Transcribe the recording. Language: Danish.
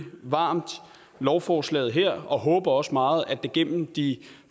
varmt lovforslaget her og håber også meget at det gennem de